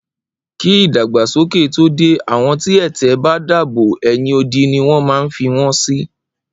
Kí ìdàgbàsókè tó dé, àwọn ti ẹ̀tẹ̀ bá dàbò, ẹ̀yìn odi ni wọ́n ma ń fi won sì